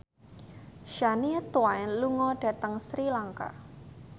Shania Twain lunga dhateng Sri Lanka